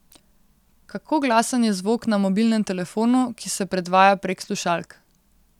Kako glasen je zvok na mobilnem telefonu, ki se predvaja prek slušalk?